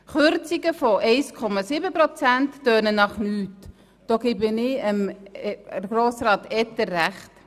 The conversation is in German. Kürzungen in der Höhe von 1,7 Prozent tönen nach nichts, da gebe ich Grossrat Etter recht.